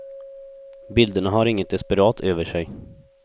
Bilderna har inget desperat över sig.